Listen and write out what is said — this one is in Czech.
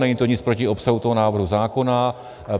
Není to nic proti obsahu toho návrhu zákona.